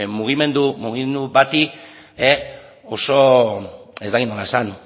mugimendu bati oso ez dakit nola esan